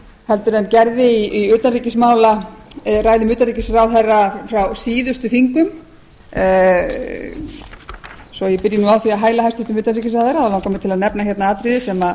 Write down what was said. tón en gerði í ræðum utanríkisráðherra frá síðustu þingum svo ég byrji nú á því að hæla hæstvirts utanríkisráðherra langar mig til að nefna hérna atriði sem